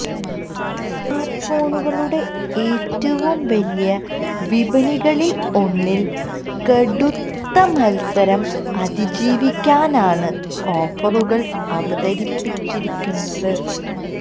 സ്മാര്ട്ട്ഫോണുകളുടെ ഏറ്റവും വലിയ വിപണികളില് ഒന്നില് കടുത്ത മത്സരം അതിജീവിക്കാനാണ് ഓഫറുകള് അവതരിപ്പിച്ചിരിക്കുന്നത്